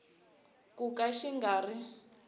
ku ka xi nga ri